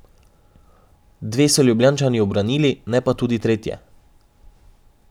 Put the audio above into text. Dve so Ljubljančani ubranili, ne pa tudi tretje.